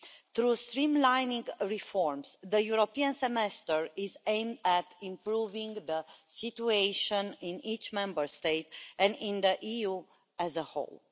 By streamlining reforms, the European semester aims to improve the situation in each Member State and in the EU as a whole.